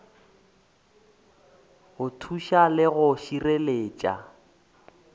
go thuša le go šireletša